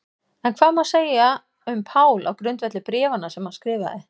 En hvað má þá segja um Pál á grundvelli bréfanna sem hann skrifaði?